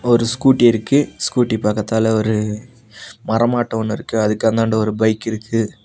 ஒரு ஸ்கூட்டி இருக்கு ஸ்கூட்டி பக்கத்தால ஒரு மரமாட்ட ஒன்னு இருக்கு அதுக்கு அந்தாண்ட ஒரு பைக் இருக்கு.